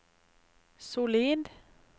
solid